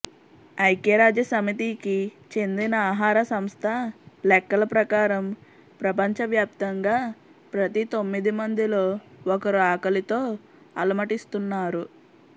ఐక్యరాజ్యసమితి కి చెందిన ఆహారసంస్థ లెక్కల ప్రకా రం ప్రపంచవ్యాప్తంగా ప్రతి తొమ్మిది మందిలో ఒకరు ఆకలితో అలమటి స్తున్నారు